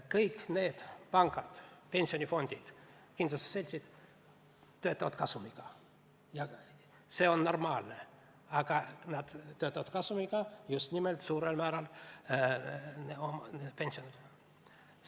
Kõik need pangad, pensionifondid, kindlustusseltsid töötavad kasumiga ja see on normaalne, aga nad töötavad kasumiga just nimelt suurel määral tulevaste pensionäride arvel.